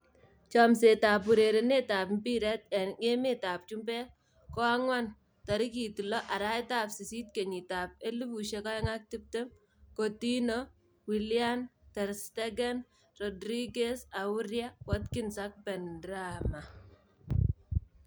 Chomset ab urerenet ab mbiret eng emet ab chumbek koang'wan 6.08.2020: Coutinho, Willian, Ter Stegen, Rodriguez, Aurier, Watkins, Benrahma